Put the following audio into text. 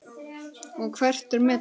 Hugrún: Og hvert er metið?